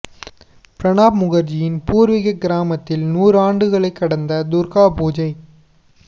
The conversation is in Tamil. பிரணாப் முகா்ஜியின் பூா்வீகக் கிராமத்தில் நூறு ஆண்டுகளைக் கடந்த துா்கா பூஜை